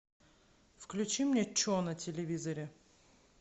включи мне че на телевизоре